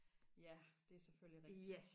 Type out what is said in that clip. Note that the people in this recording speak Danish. ja det er selvfølgelig rigtigt